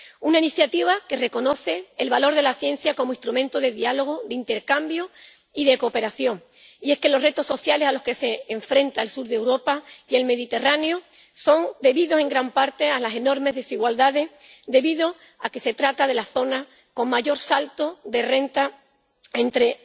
Una iniciativa que reconoce el valor de la ciencia como instrumento de diálogo, de intercambio y de cooperación. Y es que los retos sociales a los que se enfrentan el sur de Europa y el Mediterráneo son debidos, en gran parte, a las enormes desigualdades, debido a que se trata de las zonas con mayor salto de renta entre